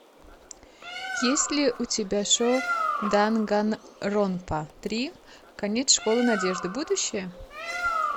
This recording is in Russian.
есть ли у тебя шоу данганронпа три конец школы надежды будущее